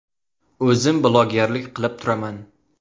O‘zim blogerlik qilib turaman.